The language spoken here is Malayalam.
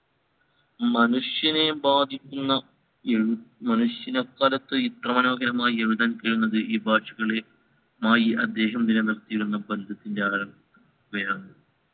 മനുഷ്യനെ ബാധിക്കുന്ന ഏഴു മനുഷ്യന് അക്കാലത്തു ഇത്ര മനോഹരമായ് എഴുതാൻ കഴിയുന്നത് ഈ ഭാഷകളെ മായി അദ്ദേഹം നിലനിർത്തിയിരുന്ന ബന്ധത്തിൻറ്റെ ആഴം ക്കുകയാണ്